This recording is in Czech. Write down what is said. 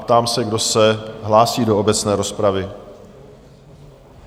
Ptám se, kdo se hlásí do obecné rozpravy?